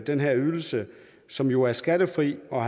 den her ydelse som jo er skattefri og